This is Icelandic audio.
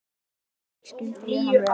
Mikið skildi ég hann vel.